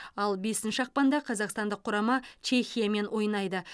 ал бесінші ақпанда қазақстандық құрама чехиямен ойнайды